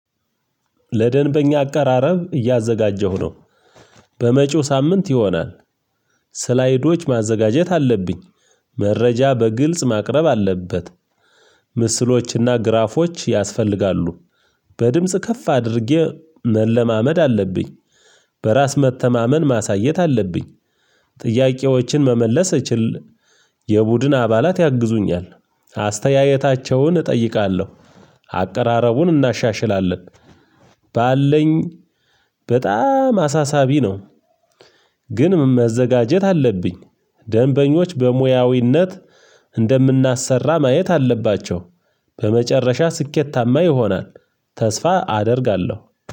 ለደንበኛ አቃራረብ እያዘጋጀሁ ነው። በመጪው ሳምንት ይሆናል። ስላይዶች ማዘጋጀት አለብኝ። መረጃ በግልጽ ማቅረብ አለበት። ምስሎችና ግራፎች ያስፈልጋሉ። በድምጽ ከፍ አድርጌ መለማመድ አለብኝ። በራስ መተማመን ማሳየት አለብኝ። ጥያቄዎችን መመለስ እችል የቡድን አባላት ያግዙኛል። አስተያየታቸውን እጠይቃለሁ። አቀራረቡን እናሻሽላለን። ባለኝ በጣም አሳሳቢ ነው። ግን ምን መዘጋጀት አለብኝ። ደንበኞች በሙያዊነት እንደምናሰራ ማየት አለባቸው። በመጨረሻ ስኬታማ ይሆናል። ተስፋ አደርጋለሁ።